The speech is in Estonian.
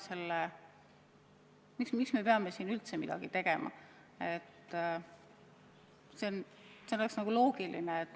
Miks me peame üldse midagi tegema?